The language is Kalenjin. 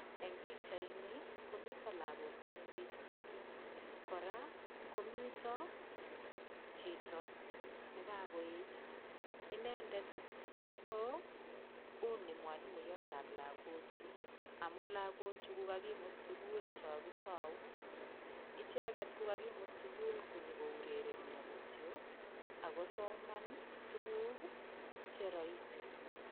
Eng' pikchaini komito lakok chemengech mising' kora komito chito nekakoet inendet ko uu ni mwalimuyotab lakochu amun lakochu kokakimut sukul cho kitou icheget ko kakimut sukul konyikourerenyo kityo akosoman tukuk cheroisi